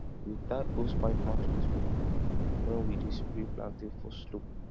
we tie hosepipe mouth with rope when we dey spray plantain for slope